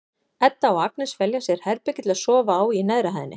Edda og Agnes velja sér herbergi til að sofa í á neðri hæðinni.